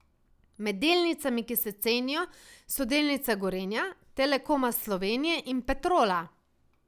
Med delnicami, ki se cenijo, so delnice Gorenja, Telekoma Slovenije in Petrola.